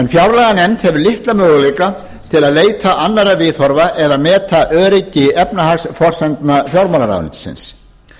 fjárlaganefnd hefur litla möguleika til að leita annarra viðhorfa eða meta öryggi efnahagsforsendna fjármálaráðuneytisins